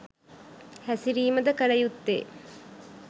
හැසිරීමද කල යුත්තේ.